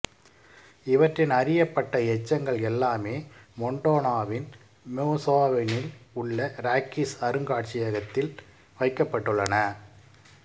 இவற்றின் அறியப்பட்ட எச்சங்கள் எல்லாமே மொண்டானாவின் போசெமானில் உள்ள ராக்கீஸ் அருங்காட்சியகத்தில் வைக்கப்பட்டுள்ளன